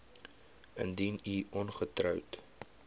indien u ongetroud